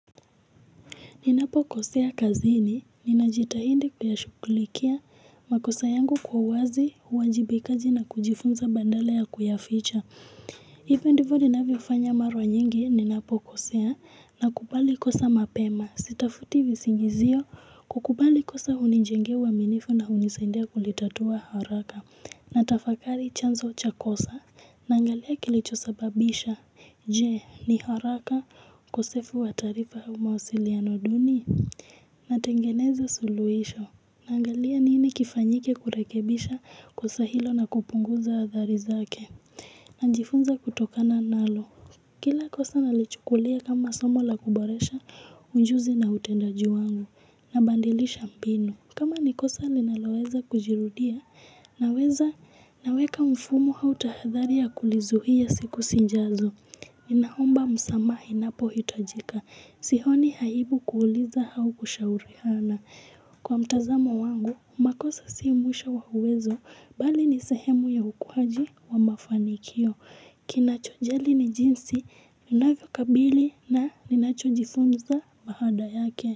Ninapo kosea kazini, ninajitahindi kuyashukulikia, makosa yangu kwa wazi, uwajibikaji na kujifunza bandala ya kuyaficha. Hivo ndivyo ninavyofanya mara nyingi, ninapo kosea, na kubali kosa mapema. Sitafuti visingizio, kukubali kosa hunijengea uaminifu na hunisaidia kulitatua haraka. Natafakari chanzo cha kosa, na kile kilicho sababisha. Je, ni haraka ukosefu wa taarifa au mausiliano duni natengeneza suluhisho. Naangalia nini kifanyike kurekebisha kosa hilo na kupunguza hatari zake. Najifunza kutokana nalo. Kila kosa nalichukulia kama somo la kuboresha ujuzi na utendaji wangu, nabandilisha mbinu. Kama ni kosa linaloweza kujirudia naweka mfumo au tahadhari ya kulizuia siku zijazo. Ninaomba msamaha inapo hitajika. Sioni aibu kuuliza au kushauriana. Kwa mtazamo wangu, makosa si mwisho wa uwezo, bali nisehemu ya ukuaji wa mafanikio. Kinacho jali ni jinsi, ninavyo kabili na ninacho jifunza baada yake.